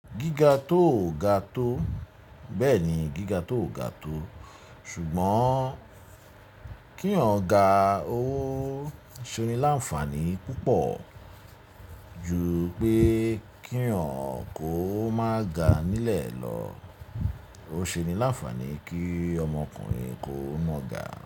Gíga tó ò ga tó bẹ́ẹ̀ ni gíga tó ò ga tó ṣùgbọ́n kí yan ó ga o ó ṣe ni láǹfàní púpọ̀ ju pé kí yaǹ kó má ga nílẹ̀ lọ. Ó ṣe ni láǹfàní kí ọmọkùnrin kó má ga.